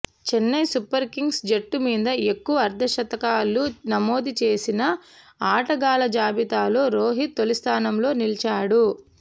Chennai Super Kings జట్టు మీద ఎక్కువ అర్ధ శతకాలు నమోదు చేసిన ఆటగాళ్ల జాబితాలో రోహిత్ తొలిస్థానంలో నిలిచాడు